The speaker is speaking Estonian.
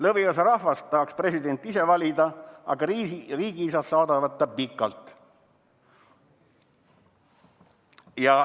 Lõviosa rahvast tahaks presidenti ise valida, aga riigiisad saadavad ta pikalt.